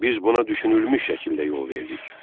Biz buna düşünülmüş şəkildə yol verdik.